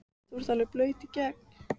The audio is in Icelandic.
þú ert alveg blaut í gegn!